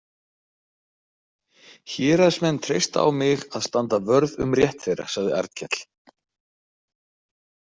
Héraðsmenn treysta á mig að standa vörð um rétt þeirra, sagði Arnkell.